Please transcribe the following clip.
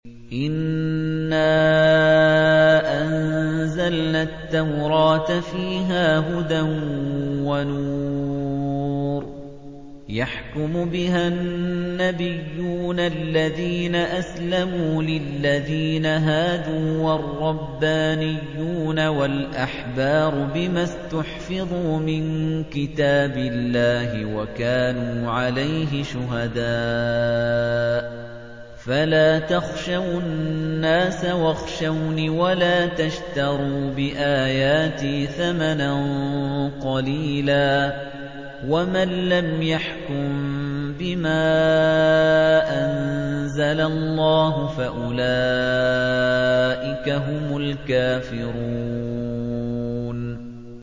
إِنَّا أَنزَلْنَا التَّوْرَاةَ فِيهَا هُدًى وَنُورٌ ۚ يَحْكُمُ بِهَا النَّبِيُّونَ الَّذِينَ أَسْلَمُوا لِلَّذِينَ هَادُوا وَالرَّبَّانِيُّونَ وَالْأَحْبَارُ بِمَا اسْتُحْفِظُوا مِن كِتَابِ اللَّهِ وَكَانُوا عَلَيْهِ شُهَدَاءَ ۚ فَلَا تَخْشَوُا النَّاسَ وَاخْشَوْنِ وَلَا تَشْتَرُوا بِآيَاتِي ثَمَنًا قَلِيلًا ۚ وَمَن لَّمْ يَحْكُم بِمَا أَنزَلَ اللَّهُ فَأُولَٰئِكَ هُمُ الْكَافِرُونَ